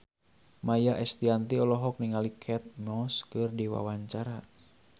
Maia Estianty olohok ningali Kate Moss keur diwawancara